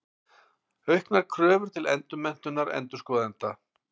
Auknar kröfur til endurmenntunar endurskoðenda.